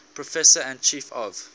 professor and chief of